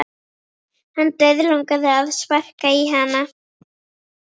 Hann dauðlangaði að sparka í hana.